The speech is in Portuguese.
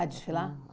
desfilar?